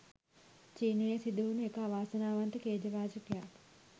චීනයේ සිදුවුනු එක අවාසනාවන්ත ඛේදවාචකයක්.